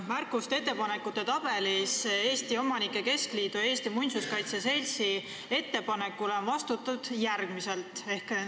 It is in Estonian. Märkuste ja ettepanekute tabelis on Eesti Omanike Keskliidu ja Eesti Muinsuskaitse Seltsi ettepanekule vastatud järgmiselt.